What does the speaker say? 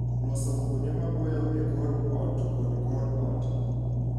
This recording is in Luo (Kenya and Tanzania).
Loso kuonde maboyo e kor ot kod kor ot.